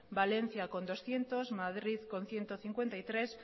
valencia con doscientos madrid con ciento cincuenta y tres